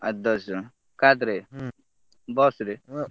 ଆଠ ଦଶଜଣ କାଧରେ bus ରେ ।